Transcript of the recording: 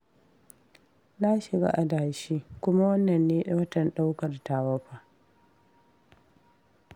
Na shiga adashi, kuma wannan ne watan ɗaukar tawa fa